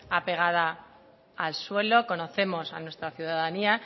apegada al suelo conocemos a nuestra ciudadanía